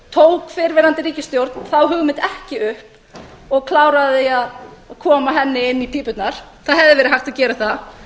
tók fyrrverandi ríkisstjórn þá hugmynd ekki upp og kláraði að koma henni inn í pípurnar það hefði verið hægt að gera það